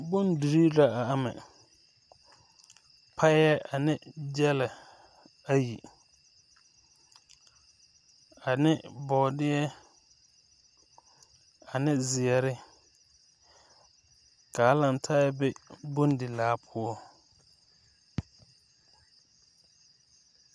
Bondirii la a ama payɛ ane gyɛlɛ ayi ane bɔɔdeɛ ane zeɛre kaa laŋtaa be bondi laa poɔ.